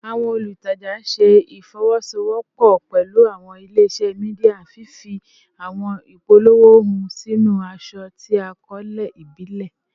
Awọn olutaja ṣe ifowosowopo pẹlu awọn ile-iṣẹ media, fifi awọn ipolowo hun sinu aṣọ ti akọọlẹ ibile